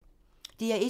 DR1